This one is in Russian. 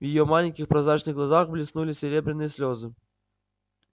в её маленьких прозрачных глазках блеснули серебряные слёзы